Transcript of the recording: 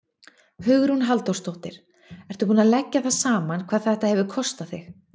Hugrún Halldórsdóttir: Ertu búinn að leggja það saman hvað þetta hefur kostað þig?